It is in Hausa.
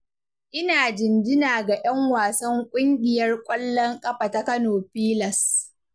Ina jinjina ga 'yan wasan ƙungiyar ƙwallon ƙafa ta Kano pilas.